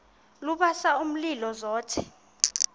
lubasa umlilo zothe